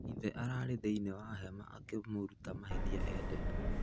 Ithe arari thĩinĩ wa hema akĩmũrũta mahatia Eden.